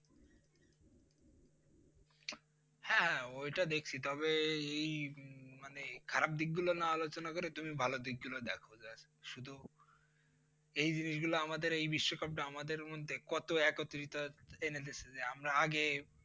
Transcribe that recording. হ্যাঁ ওইটা দেখছি তবে এই মানে খারাপ দিক গুলো না আলোচনা করে তুমি ভালো দিক গুলো দেখো যে শুধু এই জিনিস গুলো এই বিশ্ব কাপটা আমাদের মধ্যে কত একত্রিত এনে দিয়েছে যে আমরা আগে,